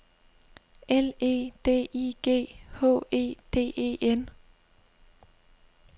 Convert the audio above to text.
L E D I G H E D E N